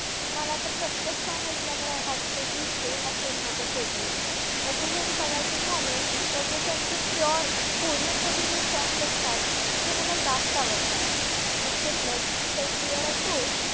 मला तर प्रत्येक song ऐकल्यावर वाटतं की हे असेल माझं favourite. तसं जरी बघायचं झालं तर जे त्यांचं pure korean मध्ये जे songs असतात ते मला जास्त आवडतात. मग ते ब्लड, स्वेट अँड टीअर्स असो